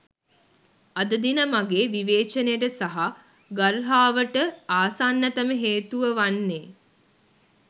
අද දින මගේ විවේචනයට සහ ගර්හාවට ආසන්නතම හේතුව වන්නේ